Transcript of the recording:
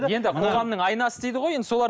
енді қоғамның айнасы дейді ғой енді солар